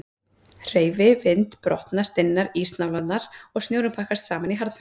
Hreyfi vind brotna stinnar ísnálarnar og snjórinn pakkast saman í harðfenni.